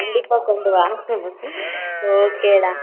கண்ணடிப்பா கொண்டு வா okay டா